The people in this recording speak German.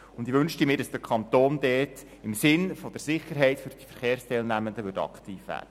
Ich wünschte mir, dass der Kanton dort im Sinne der Sicherheit der Verkehrsteilnehmenden aktiv würde.